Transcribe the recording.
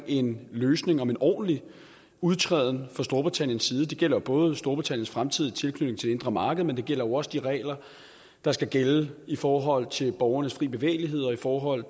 en løsning for en ordentlig udtræden fra storbritanniens side det gælder jo både storbritanniens fremtidige tilknytning indre marked men det gælder jo også de regler der skal gælde i forhold til borgernes frie bevægelighed og i forhold